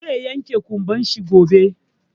Zai yanke ƙumban shi gobe.